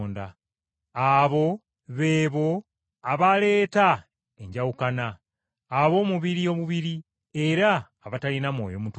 Abo be bo abaleeta enjawukana, ab’omubiri obubiri era abatalina Mwoyo Mutukuvu.